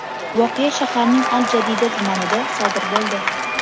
Voqea shaharning al-Jadida tumanida sodir bo‘ldi.